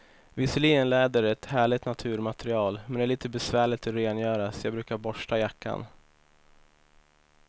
Visserligen är läder ett härligt naturmaterial, men det är lite besvärligt att rengöra, så jag brukar borsta jackan.